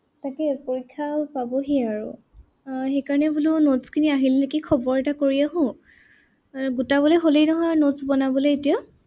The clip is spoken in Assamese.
তাকেই পৰীক্ষাও পাবহিয়ে আৰু । আহ সেইকাৰনে বোলো notes খিনি আহিল নেকি খবৰ এটা কৰি আহো। এৰ গোটাবলৈ হলেই নহয় আৰু notes বনাবলৈ এতিয়া।